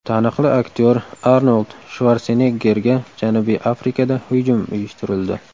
Taniqli aktyor Arnold Shvarseneggerga Janubiy Afrikada hujum uyushtirildi .